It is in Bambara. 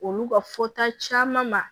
Olu ka fɔta caman ma